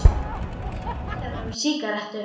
Hann vildi ekki biðja þá um sígarettu.